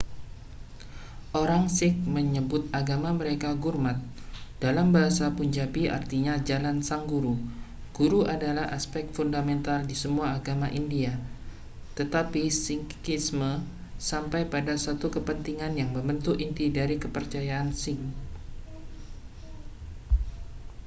orang sikh menyebut agama mereka gurmat dalam bahasa punjabi artinya jalan sang guru guru adalah aspek fundamental di semua agama india tetapi sikhisme sampai pada satu kepentingan yang membentuk inti dari kepercayaan sikh